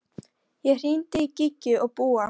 Ég hringdi í Gígju og Búa.